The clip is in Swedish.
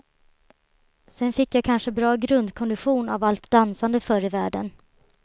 Sen fick jag kanske bra grundkondition av allt dansande förr i världen.